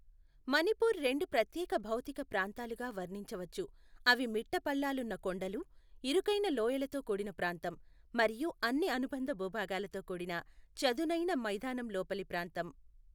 మణిపూర్ రెండు ప్రత్యేక భౌతిక ప్రాంతాలుగా వర్ణించవచ్చు, అవి మిట్టపల్లాలున్న కొండలు, ఇరుకైన లోయలతో కూడిన ప్రాంతం, మరియు అన్ని అనుబంధ భూభాగాలతో కూడిన చదునైన మైదానం లోపలి ప్రాంతం.